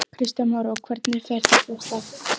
Kristján Már: Og hvernig fer þetta af stað?